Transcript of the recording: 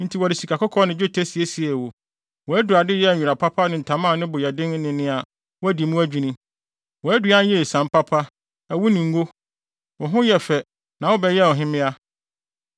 Enti wɔde sikakɔkɔɔ ne dwetɛ siesiee wo, wʼadurade yɛɛ nwera papa ne ntama a ne bo yɛ den ne nea wɔadi mu adwinni. Wʼaduan yɛɛ esiam papa, ɛwo ne ngo. Wo ho yɛɛ fɛ na wobɛyɛɛ ɔhemmea.